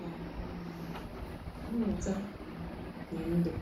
na um mmuta na ndu.